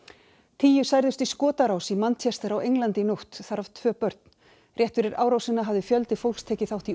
tíu særðust í skotárás í á Englandi í nótt þar af tvö börn rétt fyrir árásina hafði fjöldi fólks tekið þátt í